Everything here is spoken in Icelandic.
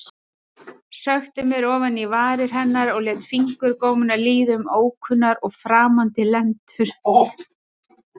Sökkti mér ofan í varir hennar og lét fingurgómana líða um ókunnar og framandi lendur.